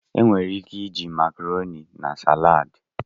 Enwere ike iji Makaroni na salaad.